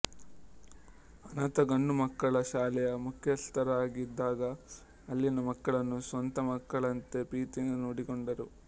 ಅನಾಥ ಗಂಡುಮಕ್ಕಳ ಶಾಲೆಯ ಮುಖ್ಯಸ್ಥರಾಗಿದ್ದಾಗ ಅಲ್ಲಿನ ಮಕ್ಕಳನ್ನು ಸ್ವಂತ ಮಕ್ಕಳಂತೆ ಪ್ರೀತಿಯಿಂದ ನೋಡಿಕೊಂಡರು